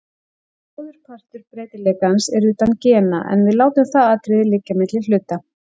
Bróðurpartur breytileikans er utan gena, en við látum það atriði liggja milli hluta hér.